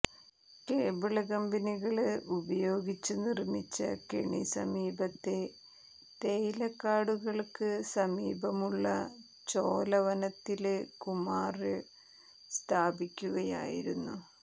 cable കമ്പികള് ഉപയോഗിച്ച് നിര്മ്മിച്ച കെണി സമീപത്തെ തേയിലക്കാടുകള്ക്ക് സമീപമുള്ള ചോലവനത്തില് കുമാര് സ്ഥാപിക്കുകയായിരുന്നു